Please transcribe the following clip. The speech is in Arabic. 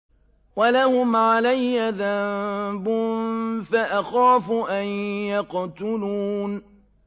وَلَهُمْ عَلَيَّ ذَنبٌ فَأَخَافُ أَن يَقْتُلُونِ